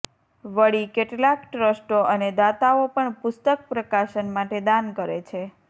વળી કેટલાંક ટ્રસ્ટો અને દાતાઓ પણ પુસ્તકપ્રકાશન માટે દાન કરે છે